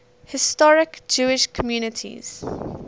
historic jewish communities